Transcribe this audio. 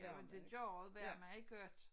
Jamen det gør det være meget godt